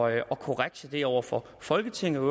at korrigere det over for folketinget og